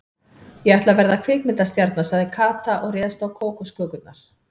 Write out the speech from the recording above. Ég ætla að verða kvikmyndastjarna sagði Kata og réðst á kókoskökurnar.